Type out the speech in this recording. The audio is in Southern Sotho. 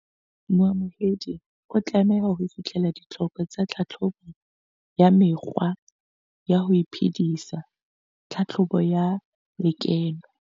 Moamohedi o tlameha ho fihlella ditlhoko tsa tlhahlobo ya mekgwa ya ho iphedisa, tlhahlobo ya lekeno.